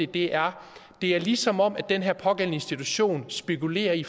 det er er ligesom om den her pågældende institution spekulerer i